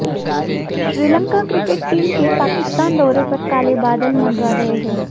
Sri Lanka cricket team के पाकिस्तान दौरे पर काले बादल मंडरा रहे हैं